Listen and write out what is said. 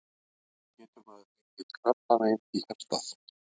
Getur maður fengið krabbamein í hjartað?